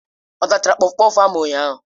Ọ tachara kpọfkpọf ahụ ụnyahụ?